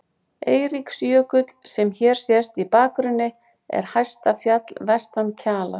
Eiríksjökull, sem hér sést í bakgrunni, er hæsta fjall vestan Kjalar.